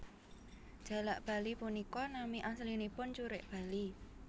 Jalak bali punika nami aslinipun curik bali